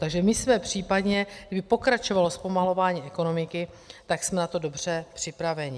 Takže my jsme případně, kdyby pokračovalo zpomalování ekonomiky, tak jsme na to dobře připraveni.